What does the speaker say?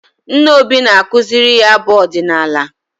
Nna Obi na-akụziri ya abụ ọdịnala.